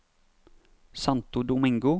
Santo Domingo